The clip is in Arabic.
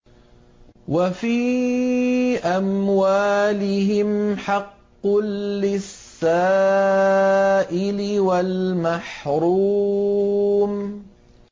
وَفِي أَمْوَالِهِمْ حَقٌّ لِّلسَّائِلِ وَالْمَحْرُومِ